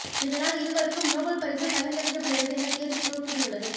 இதனால் இருவருக்கும் நோபல் பரிசு பகிர்ந்தளிக்கப்படுகிறது என தேர்வுக் குழு கூறியுள்ளது